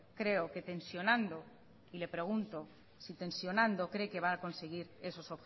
creo que tensionando y le pregunto si tensionando cree que va a conseguir esos